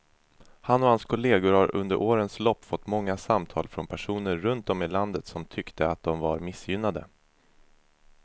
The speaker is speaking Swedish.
Han och hans kolleger har under årens lopp fått många samtal från personer runt om i landet som tyckte att de var missgynnade.